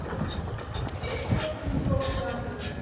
Ekið á stúlku á Strandgötu